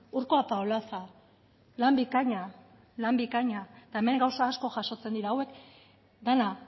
urko apaolaza lan bikaina lan bikaina eta hemen gauza asko jasotzen dira hauek dena